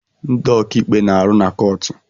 Ndị ọkaikpe na-arụ na kọọtụ